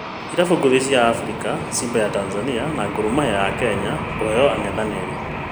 Irabu ngũthi cia afrika: simba ya Tanzania na Gor Mahia ya Kenya kũheo ang’ethanĩri